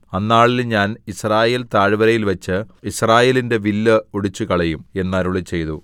അന്നാളിൽ ഞാൻ യിസ്രായേൽ താഴ്വരയിൽവച്ച് യിസ്രായേലിന്റെ വില്ല് ഒടിച്ചുകളയും എന്ന് അരുളിച്ചെയ്തു